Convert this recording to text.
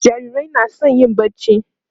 jarirai na San yin barci